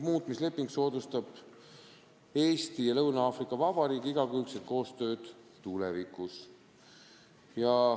Muutmisleping soodustab Eesti ja Lõuna-Aafrika Vabariigi igakülgset koostööd tulevikus.